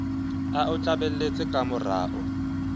a o tlameletse ka morao